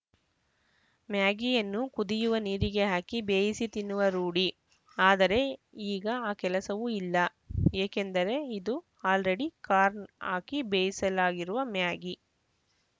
ಮ್ಯಾಗಿಯನ್ನು ಕುದಿಯುವ ನೀರಿಗೆ ಹಾಕಿ ಬೇಯಿಸಿ ತಿನ್ನುವ ರೂಢಿ ಆದರೆ ಈಗ ಆ ಕೆಲಸವೂ ಇಲ್ಲ ಏಕೆಂದರೆ ಇದು ಆಲ್‌ರೆಡಿ ಕಾರ್ನ್‌ ಹಾಕಿ ಬೇಯಿಸಲಾಗಿರುವ ಮ್ಯಾಗಿ